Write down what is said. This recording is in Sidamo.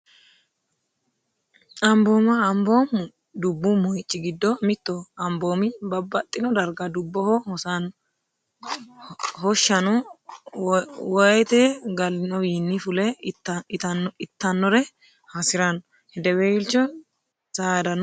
Ambooma, amboom dubu moyichi gido mitoho, amboomi babaxino dariga dubbobo hosanno hashano woyite galinowinni fule ittanore hasiranno, hedeweelicho saadanno ederaano